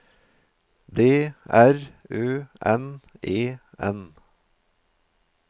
D R Ø N E N